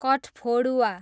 कठफोडुवा